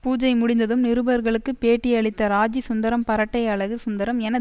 பூஜை முடிந்ததும் நிருபர்களுக்கு பேட்டி அளித்த ராஜீ சுந்தரம் பரட்டை அழகு சுந்தரம் என